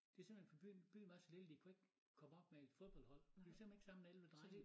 Det simpelthen for byen byen var så lille de kunne ikke komme op med et fodboldhold de kunne simplethen ikke samle 11 drenge